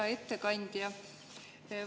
Hea ettekandja!